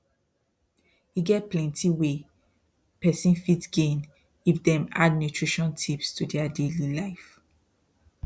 e get plenty wey person fit gain if dem add nutrition tips to their daily life